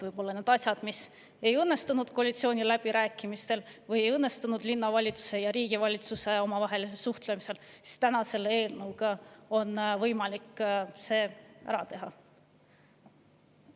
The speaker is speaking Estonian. Võib-olla need asjad, mis ei õnnestunud koalitsiooniläbirääkimistel või linnavalitsuse ja Vabariigi Valitsuse omavahelises suhtluses, on selle eelnõuga võimalik ära teha.